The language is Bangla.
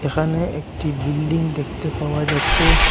এখানে একটি বিল্ডিং দেখতে পাওয়া যাচ্ছে।